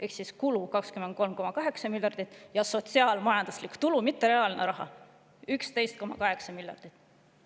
Ehk siis kulud on 23,8 miljardit ja sotsiaal-majanduslikud tulud, mitte reaalne raha, on 11,8 miljardit.